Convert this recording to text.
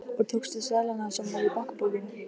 Og tókstu seðlana sem voru í bankabókinni?